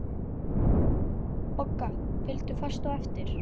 Bogga fylgdu fast á eftir.